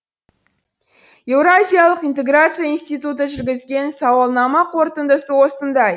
еуразиялық интеграция институты жүргізген сауалнама қорытындысы осындай